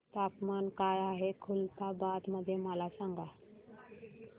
तापमान काय आहे खुलताबाद मध्ये मला सांगा